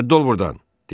Rədd ol burdan!